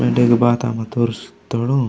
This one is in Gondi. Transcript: वेंडे इगे बाता मगे तुरसतोड़ू।